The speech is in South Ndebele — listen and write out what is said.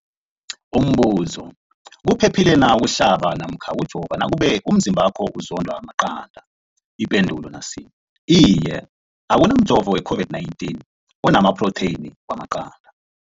Umbuzo, kuphephile na ukuhlaba namkha ukujova nakube umzimbakho uzondwa maqanda. Ipendulo, Iye. Akuna mjovo we-COVID-19 ona maphrotheyini wamaqanda.